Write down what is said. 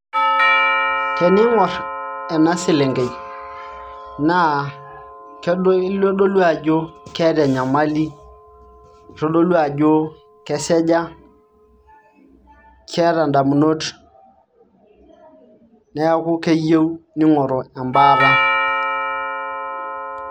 Teniing'orr ena selenkei naa itodolu ajo keeta enyamali itodolu ajo keseja keeta indamunot neeku keyieu ning'oru embaata.